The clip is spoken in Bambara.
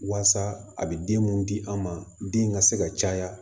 Waasa a bɛ den mun di an ma den ka se ka caya